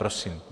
Prosím.